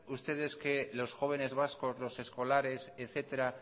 ustedes que los jóvenes vascos los escolares etcétera